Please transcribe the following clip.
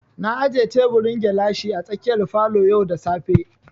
Na aje teburin gilashi a tsakiyar falo yau da safe